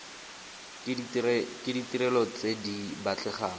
ke ditirelo tse di batlegang